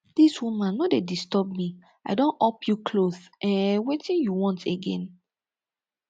dis woman no dey disturb me i don up you cloth um wetin you want again